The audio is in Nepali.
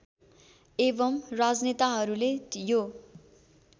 एवं राजनेताहरूले यो